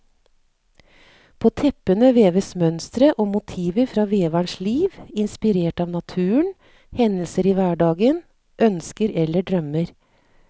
På teppene veves mønstre og motiver fra veverens liv, inspirert av naturen, hendelser i hverdagen, ønsker eller drømmer.